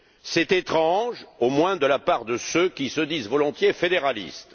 C'est étrange, du moins de la part de ceux qui se disent volontiers fédéralistes.